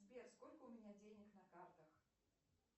сбер сколько у меня денег на картах